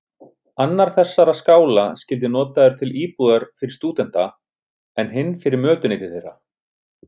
Annar þessara skála skyldi notaður til íbúðar fyrir stúdenta, en hinn fyrir mötuneyti þeirra.